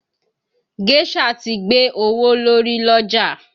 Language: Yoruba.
Géșà ti gbé owó lórí l'ọ́jà